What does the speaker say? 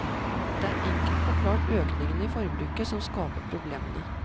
Det er enkelt forklart økningen i forbruket som skaper problemene.